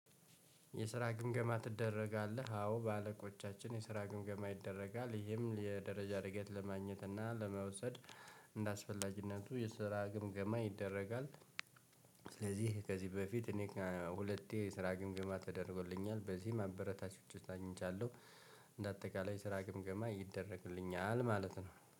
የስራ ግምገማ ትደረጋለህ አዎ በአለቆቻችን የስራ ግምገማ ይደረጋል ይሄም የደረጃ እድገት ለማግኘት እና ለመውሰድ እንደአስፈላጊነቱ የስራ ግምገማ ይደረጋል። ስለዚህ ከዚህ በፊት እኔ ሁለቴ ስራ ግምግማ ተደርጎልኛል በዚህ አበረታች አግኝቻለሁ። እንደ አጠቃላይ ስራ ግምገማ ይደረግልኛል ማለት ነው